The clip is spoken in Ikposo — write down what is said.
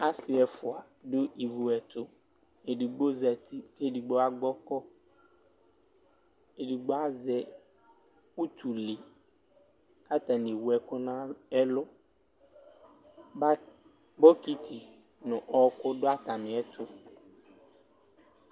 Asi ɛfʋa dʋ ivu ɛtʋ edigbo zati kʋ edigbo agbɔkɔ kʋ edigbo azɛ ʋtʋle kʋ atani ewʋ ɛkʋ nʋ ɛlʋ bɔkiti nʋ ɔkʋ dʋ atami ɛtʋ